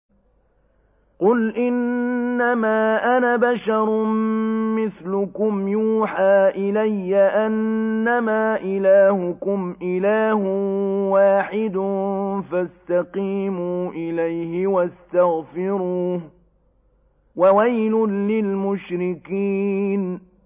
قُلْ إِنَّمَا أَنَا بَشَرٌ مِّثْلُكُمْ يُوحَىٰ إِلَيَّ أَنَّمَا إِلَٰهُكُمْ إِلَٰهٌ وَاحِدٌ فَاسْتَقِيمُوا إِلَيْهِ وَاسْتَغْفِرُوهُ ۗ وَوَيْلٌ لِّلْمُشْرِكِينَ